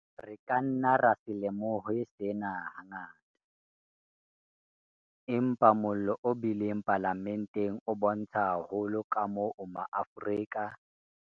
Re ka nna ra se lemohe sena hangata, empa mollo o bileng Palamenteng o bontsha haholo kamoo ma Afrika